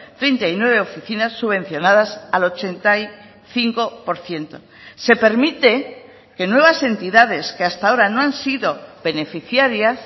treinta y nueve oficinas subvencionadas al ochenta y cinco por ciento se permite que nuevas entidades que hasta ahora no han sido beneficiarias